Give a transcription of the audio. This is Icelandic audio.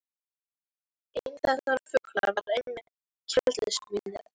Einn þessara fugla var einmitt keldusvín- ið.